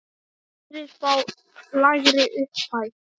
Aðrir fá lægri upphæð.